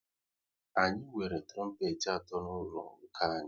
Anyị nwere trompet atọ n'ụlọ ụka anyị